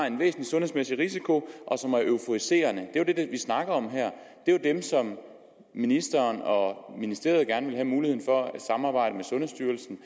en væsentlig sundhedsmæssig risiko og som er euforiserende det er jo det vi snakker om her det er jo dem som ministeren og ministeriet gerne vil have muligheden for at samarbejde med sundhedsstyrelsen